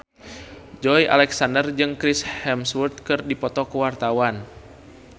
Joey Alexander jeung Chris Hemsworth keur dipoto ku wartawan